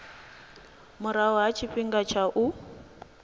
murahu ha tshifhinga tsha u